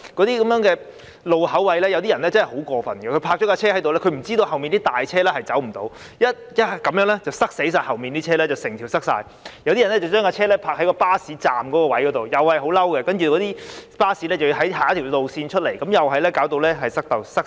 在一些路口位，有些人真的很過分，把汽車停泊在那裏，不知道隨後的大型汽車將不能駛過，導致整條道路擠塞；有些人則把汽車停泊在巴士站，令巴士要繞路而行，同樣導致道路擠塞，亦令人感到氣憤。